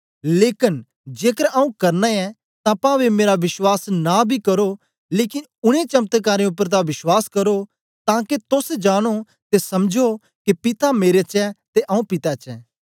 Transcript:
लेकन जेकर आऊँ करना ऐं तां पांवे मेरा बश्वास न बी करो लेकन उनै चमत्कारें उपर तां बश्वास करो तांके तोस जानो ते समझो के पिता मेरे च ऐ ते आऊँ पिता च आं